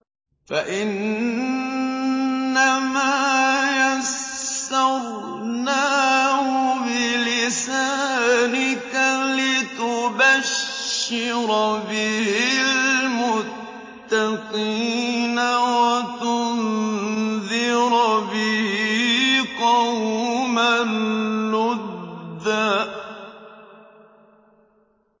فَإِنَّمَا يَسَّرْنَاهُ بِلِسَانِكَ لِتُبَشِّرَ بِهِ الْمُتَّقِينَ وَتُنذِرَ بِهِ قَوْمًا لُّدًّا